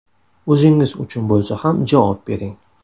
O‘zingiz uchun bo‘lsa ham javob bering.